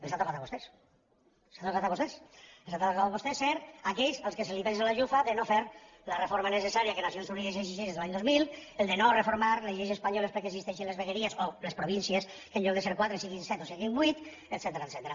els ha tocat a vostès els ha tocat a vostès ser aquells als quals se’ls penja la llufa de no fer la reforma necessària que nacions unides exigeix des de l’any dos mil de no reformar les lleis espanyoles perquè existeixin les vegueries o les províncies que en lloc de ser quatre siguin set o siguin vuit etcètera